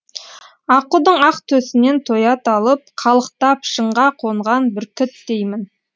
аққудың ақ төсінен тоят алып қалықтап шыңға қонған бүркіттеймін